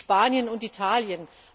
Spanien und Italien.